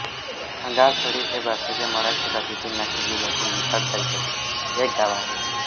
खाणगावथडी हे भारताच्या महाराष्ट्र राज्यातील नाशिक जिल्ह्यातील निफाड तालुक्यातील एक गाव आहे